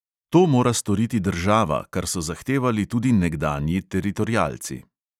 To mora storiti država, kar so zahtevali tudi nekdanji teritorialci.